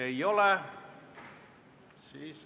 Ei ole.